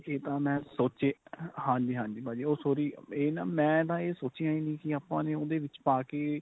ਇਹ ਤਾਂ ਮੈਂ ਸੋਚਿਆ ਹਾਂਜੀ ਹਾਂਜੀ ਭਾਜੀ ਉਹ sorry ਇਹ ਨਾਂ ਮੈਂ ਤਾਂ ਇਹ ਸੋਚਿਆਂ ਈ ਨੀ ਕੀ ਆਪਾਂ ਨੇ ਉਹਦੇ ਵਿੱਚ ਪਾ ਕੇ